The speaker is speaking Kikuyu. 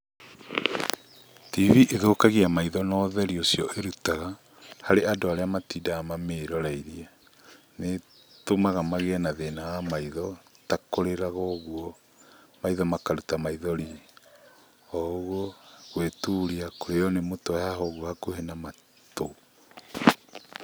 TV ĩthũkagia maitho na ũtheri ũcio ĩrutaga, harĩ andũ arĩa matindaga mamĩroreirie. Nĩ ĩtũmaga magĩe na thĩna wa maitho, ta kũriraga ũguo, maitho makaruta maithori o ũguo, gũĩturia, kũrĩo nĩ mũtwe haha ũguo hakuhĩ na matũ.